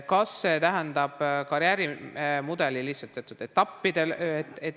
Kas see tähendab lihtsalt karjäärimudeli teatud etappe?